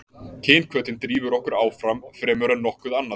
Kynhvötin drífur okkur áfram fremur en nokkuð annað.